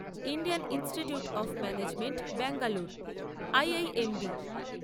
Indian institute of management Bangalore IIMB